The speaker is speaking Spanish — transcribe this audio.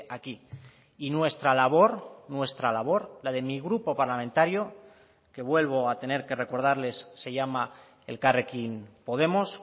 aquí y nuestra labor nuestra labor la de mi grupo parlamentario que vuelvo a tener que recordarles se llama elkarrekin podemos